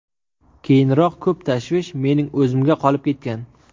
Keyinroq ko‘p tashvish mening o‘zimga qolib ketgan.